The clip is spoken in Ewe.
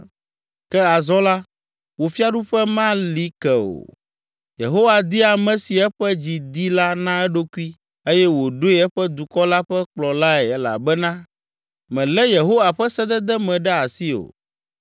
Ke azɔ la, wò fiaɖuƒe mali ke o. Yehowa di ame si eƒe dzi di la na eɖokui eye wòɖoe eƒe dukɔ la ƒe kplɔlae elabena mèlé Yehowa ƒe sedede me ɖe asi o.”